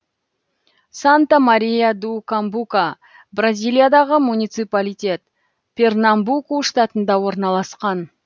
санта мария ду камбука бразилиядағы муниципалитет пернамбуку штатында орналасқан